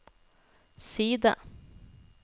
side